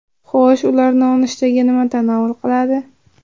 Xo‘sh, ular nonushtaga nima tanovul qiladi?